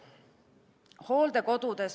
Hooldekodud.